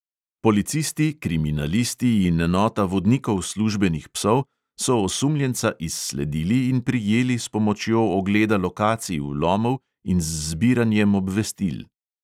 Policisti, kriminalisti in enota vodnikov službenih psov so osumljenca izsledili in prijeli s pomočjo ogleda lokacij vlomov in z zbiranjem obvestil.